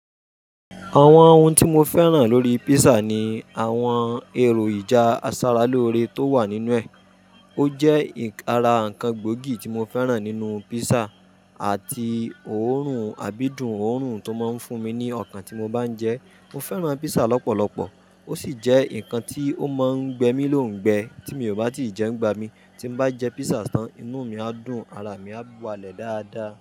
Àwọn ohun tí mo fẹ́ràn lórí pízzà ni àwọn èròjà asáralórẹẹ tó wà nínú ẹ̀. O jẹ́ ara ǹkan gbòógì tí mo fẹ́ràn nínú pízzà àti òórùn, àbídùn òórùn tó máa ń fún mi ní ọkàn tí mo bá ń jẹ ẹ́. Mo fẹ́ràn písà lọ́pọ̀lọpọ̀. Ó sì jẹ́ ǹkan tí ó máa ń gbẹ mí lóǹgbẹ tí mi ò bá tí ì jẹ nigbá mi. Tí mo bá jẹ pízzà tán, inú mi á dùn, ara mi á balẹ̀ dáadáa.